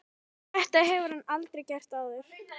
Þetta hefur hann aldrei gert áður.